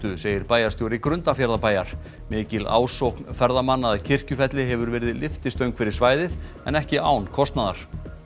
segir bæjarstjóri Grundarfjarðarbæjar mikil ásókn ferðamanna að Kirkjufelli hefur verið lyftistöng fyrir svæðið en ekki án kostnaðar